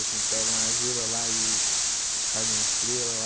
Assim, pega uma argila lá e faz uma estrela lá.